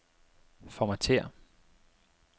Formatér.